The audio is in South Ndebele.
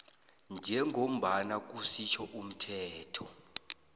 njengombana kusitjho umthetho